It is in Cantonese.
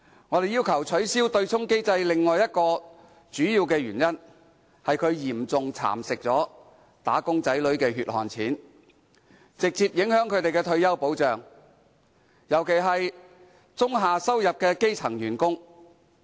我們要求取消對沖機制的另一主要原因，是它嚴重蠶食"打工仔女"的"血汗錢"，直接影響他們的退休保障，尤其是中下收入的基層員工。